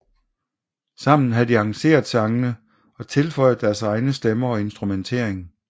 Sammen havde de arrangeret sangene og tilføjet deres egne stemmer og instrumentering